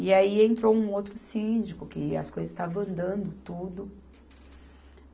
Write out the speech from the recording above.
E aí entrou um outro síndico, que as coisas estavam andando tudo.